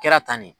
Kɛra tan de